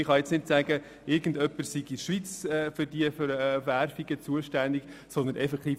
Man kann also nicht sagen, es sei irgendjemand hier in der Schweiz allein für die Situation bei der Werbung verantwortlich.